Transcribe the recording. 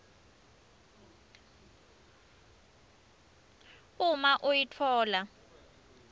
uma iuif itfola